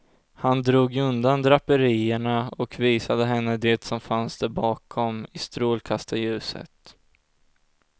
Han drog undan draperierna och visade henne det som fanns där bakom, i strålkastarljuset.